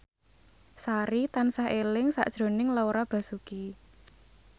Sari tansah eling sakjroning Laura Basuki